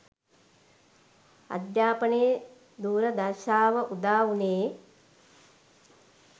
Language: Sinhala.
අධ්‍යාපනේ දූර්දශාව උදා වුණේ